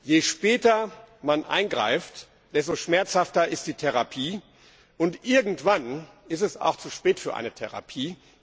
Je später man eingreift, desto schmerzhafter ist die Therapie, und irgendwann ist es auch zu spät für eine Therapie.